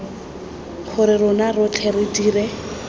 gore rona rotlhe re dire